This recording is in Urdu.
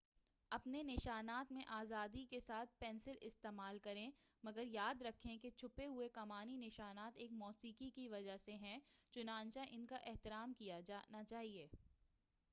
اپنے نشانات میں آزادی کے ساتھ پینسل استعمال کریں مگر یاد رکھیں کہ چھپے ہوئے کمانی نشانات ایک موسیقی کی وجہ سے ہیں چنانچہ ان کا احترام کیا جانا چاہیے